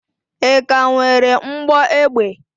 Ị ka nwere mgbọ egbe?